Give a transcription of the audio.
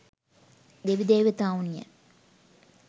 දෙවි දේවතාවුන් ය.